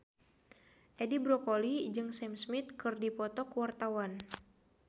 Edi Brokoli jeung Sam Smith keur dipoto ku wartawan